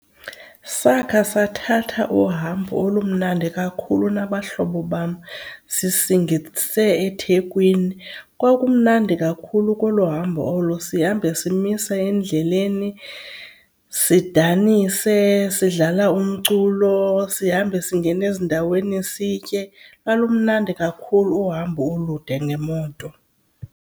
Sakha sathatha uhambo olumandi kakhulu nabahlobo bam sisingise eThekwini. Kwakumnandi kakhulu koloo hambo olo, sihambe simisa endleleni, sidanise sidlala umculo sihambe singena ezindaweni sitye. Lwalumnandi kakhulu uhambo olude ngemoto.